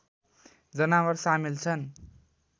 जनावर सामेल छन्